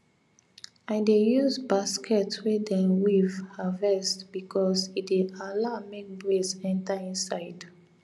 i dey use basket wey dem weave harvest because e dey allow make breeze enter inside